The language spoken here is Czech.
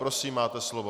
Prosím, máte slovo.